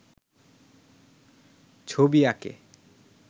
ছবি আঁকে